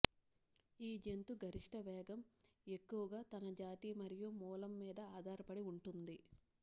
ఈ జంతు గరిష్ట వేగం ఎక్కువగా తన జాతి మరియు మూలం మీద ఆధారపడి ఉంటుంది